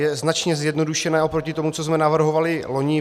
Je značně zjednodušené oproti tomu, co jsme navrhovali loni.